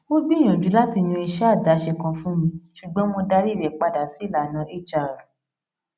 ó gbìyànjú láti yan iṣẹ àdáṣe kan fún mi ṣùgbọn mo darí rẹ padà sí ìlànà hr